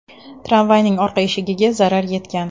Tramvayning orqa eshigiga zarar yetgan.